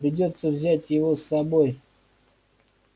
придётся взять его с собой